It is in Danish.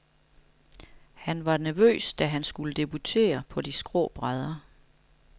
Han var nervøs, da han skulle debutere på de skrå brædder.